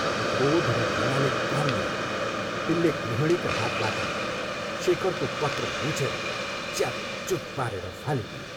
क्रोध र घृणाले काम्दै तिनले गृहिणीका हातबाट शेखरको पत्र लुछेर च्यातचुत पारेर फालिदिए।